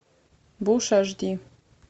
буш аш ди